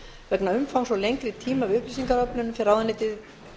vegna umfangs og lengri tíma við upplýsingaöflun fer ráðuneytið